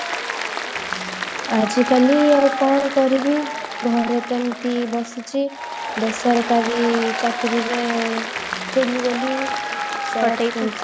ଆଜି କାଲି ଆଉ କଣ କରିବି ଘରେ ତ ଏମିତି ବସିଛି ବେସରକାରି ଚାକିରିରେ ଥିଲି ବୋଲି